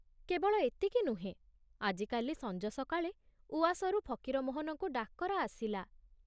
କେବଳ ଏତିକି ନୁହେଁ, ଆଜିକାଲି ସଞ୍ଜ ସକାଳେ ଉଆସରୁ ଫକୀରମୋହନଙ୍କୁ ଡାକରା ଆସିଲା।